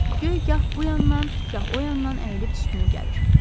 Göy gah bu yandan, gah o yandan əyilib üstünə gəlir.